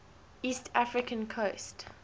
east african coast